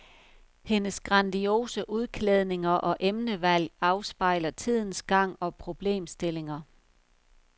Hendes grandiose udklædninger og emnevalg afspejler tidens gang og problemstillinger.